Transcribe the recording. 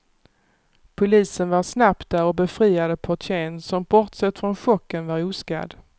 Polisen var snabbt där och befriade portieren, som bortsett från chocken var oskadd.